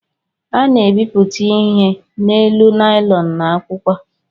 A na-ebipụta ihe n’elu naịlọn na akwụkwọ